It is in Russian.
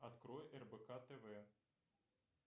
открой рбк тв